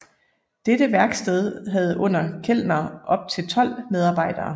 Dette værksted havde under Kellner op til 12 medarbejdere